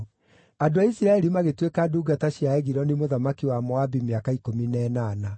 Andũ a Isiraeli magĩtuĩka ndungata cia Egiloni mũthamaki wa Moabi mĩaka ikũmi na ĩnana.